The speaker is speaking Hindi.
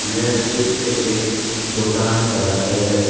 यह चित्र एक दोकान का है।